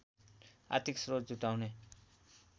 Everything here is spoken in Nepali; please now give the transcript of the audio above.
आर्थिक स्रोत जुटाउने